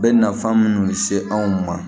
Bɛ nafan minnu se anw ma